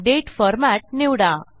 Date format निवडा